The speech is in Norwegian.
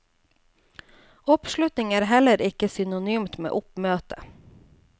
Oppslutning er heller ikke synonymt med oppmøte.